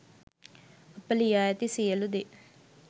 අප ලියා ඇති සියළු දේ